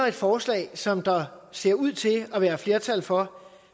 et forslag som der ser ud til at være flertal for